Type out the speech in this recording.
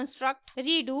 redo